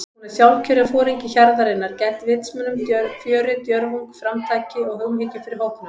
Hún er sjálfkjörinn foringi hjarðarinnar- gædd vitsmunum, fjöri, djörfung, framtaki og umhyggju fyrir hópnum.